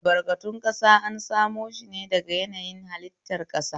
Albarkatun ƙasa an samo shine daga yanayin hallitar ƙasa.